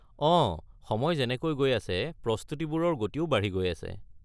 অ’, সময় যেনেকৈ গৈ আছে প্ৰস্তুতিবোৰৰ গতিও বাঢ়ি গৈ আছে।